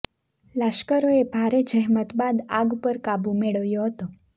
લાશ્કરોએ ભારે જહેમત બાદ આગ પર કાબૂ મેળવ્યો હતો